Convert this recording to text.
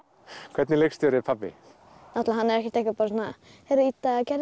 hvernig leikstjóri er pabbi hann er ekkert svona heyrðu Ída gerðu